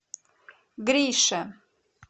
грише